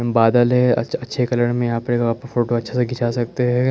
बादल हैं अच्छे अच्छे कलर में फोटो अच्छा सा खीचा सकते ह--